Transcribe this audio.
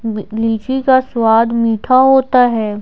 ली अ लीची का स्वाद मीठा होता है।